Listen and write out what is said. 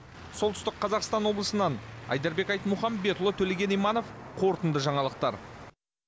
солтүстік қазақстан облысынан айдарбек айтмұхамбетұлы төлеген иманов қорытынды жаңалықтар